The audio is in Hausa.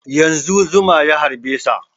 Yanzun zuma ya harbe sa